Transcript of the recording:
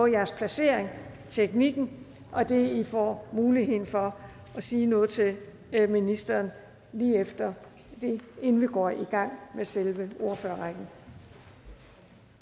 jeres placering teknikken og det at i får mulighed for at sige noget til ministeren inden vi går i gang med selve ordførerrækken